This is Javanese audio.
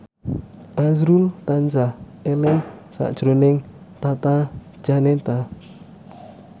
azrul tansah eling sakjroning Tata Janeta